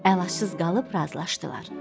Əlacsız qalıb razılaşdılar.